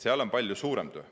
Seal on palju suurem töö.